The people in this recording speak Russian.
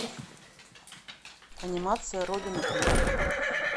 анимация родина клип